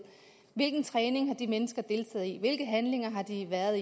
hvilken træning har de mennesker deltaget i hvilke handlinger har de været